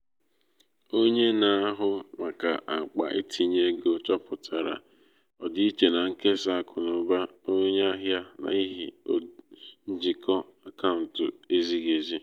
onye na-ahụ maka akpa itinye ego chọpụtara ọdịiche na nkesa akụnụba onye ahịa n’ihi njikọ akaụntụ ezighi ezi.